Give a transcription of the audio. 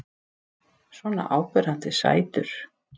Svona áberandi sætur.